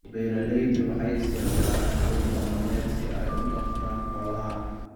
Beeralaydu waxay isticmaalaan habab dhaqameed si ay u dhaqdaan xoolaha.